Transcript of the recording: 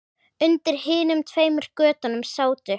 Undir hinum tveimur götunum sátu